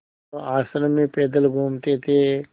वह आश्रम में पैदल घूमते थे